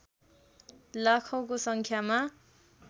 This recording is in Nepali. लाखौंको सङ्ख्यामा